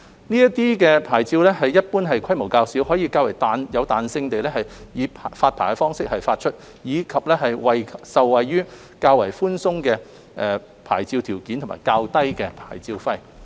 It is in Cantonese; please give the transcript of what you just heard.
這些牌照一般規模較小，可以較有彈性地以發牌方式發出，以及受惠於較寬鬆的牌照條件及較低的牌照費。